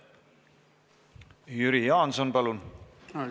Jüri Jaanson, palun!